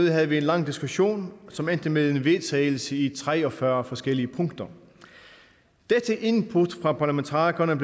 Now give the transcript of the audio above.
havde vi en lang diskussion som endte med en vedtagelse i tre og fyrre forskellige punkter dette input fra parlamentarikerne